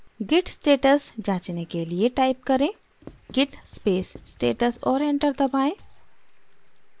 git status जाँचने के लिए type करें: git space status और enter दबाएँ